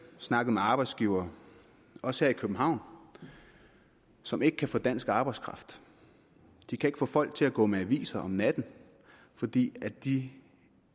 snakket med arbejdsgivere også her i københavn som ikke kan få dansk arbejdskraft de kan ikke få folk til at gå med aviser om natten fordi de